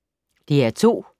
DR2